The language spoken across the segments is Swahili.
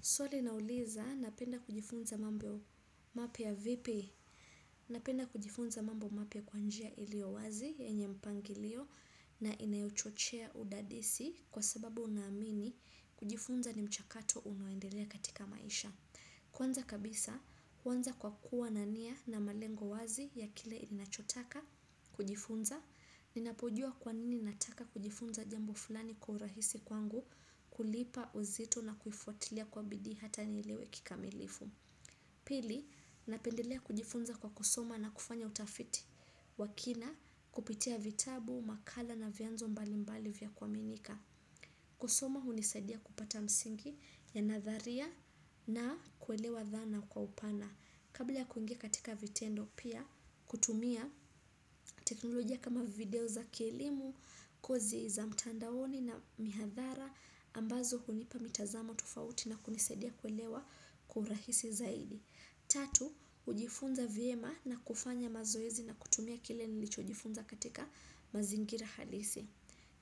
Swali nauliza napenda kujifunza mambo mapya vipi? Napenda kujifunza mambo mapya kwa njia ilio wazi, yenye mpangilio na inayuchochea udadisi kwa sababu na amini kujifunza ni mchakato unaoendelea katika maisha. Kwanza kabisa, huanza kwa kuwa na nia na malengo wazi ya kile ninachotaka, kujifunza, ninapojua kwanini nataka kujifunza jambo fulani kwa urahisi kwangu kulipa uzito na kufwatilia kwa bidii hata nielewe kikamilifu. Pili, napendelea kujifunza kwa kosoma na kufanya utafiti wa kina kupitia vitabu, makala na vianzo mbalimbali vya kwaminika. Kusoma hunisadia kupata msingi ya nadharia na kuelewa dhana kwa upana. Kabla ya kuingia katika vitendo pia kutumia teknolojia kama video za ki elimu, kozi za mtandaoni na mihathara ambazo hunipa mitazamo tofauti na kunisadia kuelewa kwa urahisi zaidi. Tatu, hujifunza vyema na kufanya mazoezi na kutumia kile nilijifunza katika mazingira halisi.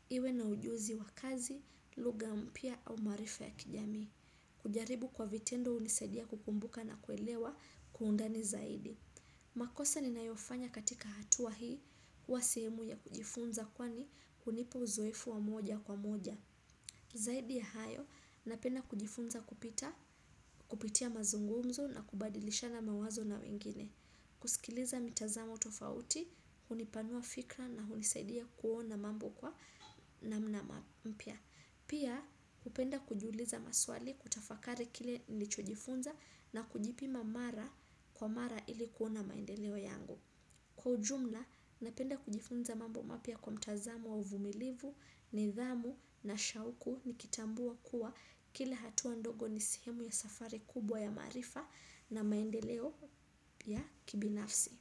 Iwe na ujuzi wa kazi, lugha mpya au maarifa ya kijamii. Kujaribu kwa vitendo hunisaidia kukumbuka na kuelewa kwa undani zaidi. Makosa ni nayofanya katika hatua hii huwa sehemu ya kujifunza kwani hunipa uzoefu wa moja kwa moja. Zaidi ya hayo, napenda kujifunza kupita, kupitia mazungumzo na kubadilishana mawazo na wengine. Kusikiliza mitazamo tofauti, hunipanua fikra na hunisaidia kuona mambo kwa namna mpya. Pia hupenda kujiuliza maswali kutafakari kile nilichojifunza na kujipima mara kwa mara ili kuona maendeleo yangu. Kwa ujumla, napenda kujifunza mambo mapya kwa mtazamo wa uvumilivu, nidhamu na shauku nikitambua kuwa kila hatuwa ndogo ni sehemu ya safari kubwa ya maarifa na maendeleo ya kibinafsi.